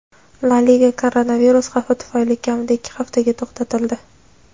La Liga koronavirus xavfi tufayli kamida ikki haftaga to‘xtatildi.